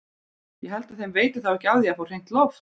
Ég held að þeim veiti þá ekki af því að fá hreint loft!